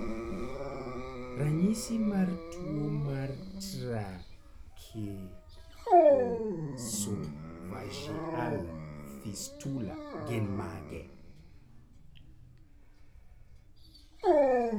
Ranyisi mag tuwo mar Tracheoesophageal fistula gin mage?